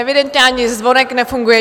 Evidentně ani zvonek nefunguje.